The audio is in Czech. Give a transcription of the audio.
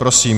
Prosím.